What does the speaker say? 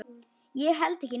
Ég held ekki neitt.